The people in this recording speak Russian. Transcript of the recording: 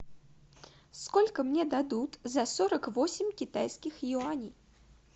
сколько мне дадут за сорок восемь китайских юаней